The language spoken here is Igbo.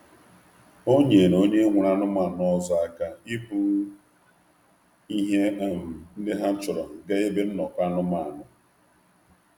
Ọ nyeere onye ọzọ aka iburu ihe ha n’ogige nzukọ nzukọ anụ ụlọ.